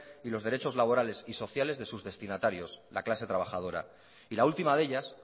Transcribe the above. y los derechos laborales y sociales de sus destinatarios la clase trabajadora y la última de ellas